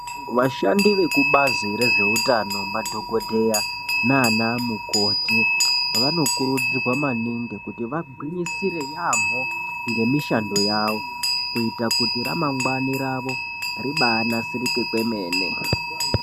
Vashandi vekubazi rezveutano madhokodheya naana mukoti vanokurudzirwa maningi kuti vagwinyisire yaambo ngemishando yavo kuita kuti ramangwana ravo ribaanasirike kwemene.